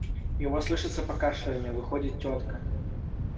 его слышится покашливание выходит тётка